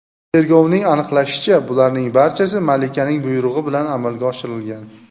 Tergovning aniqlashicha, bularning barchasi malikaning buyrug‘i bilan amalga oshirilgan.